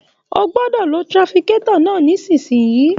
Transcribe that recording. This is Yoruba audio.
O gbọdọ lò tírákítọ̀ náà nisinyi!